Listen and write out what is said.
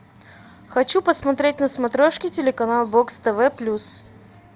хочу посмотреть на смотрешке телеканал бокс тв плюс